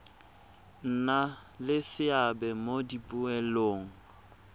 nna le seabe mo dipoelong